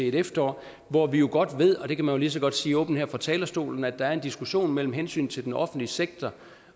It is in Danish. et efterår hvor vi jo godt ved og det kan man lige så godt sige åbent her fra talerstolen at der kommer en diskussion om hensynet til den offentlige sektor